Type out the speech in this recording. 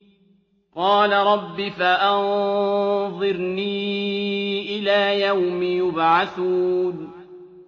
قَالَ رَبِّ فَأَنظِرْنِي إِلَىٰ يَوْمِ يُبْعَثُونَ